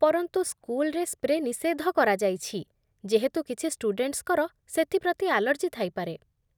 ପରନ୍ତୁ, ସ୍କୁଲରେ ସ୍ପ୍ରେ ନିଷେଧ କରାଯାଇଛି, ଯେହେତୁ କିଛି ଷ୍ଟୁଡେଣ୍ଟସ୍‌ଙ୍କର ସେଥି ପ୍ରତି ଆଲର୍ଜି ଥାଇପାରେ।